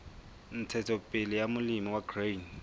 ntshetsopele ya molemi wa grain